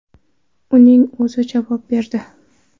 Uning o‘zi javob berdi.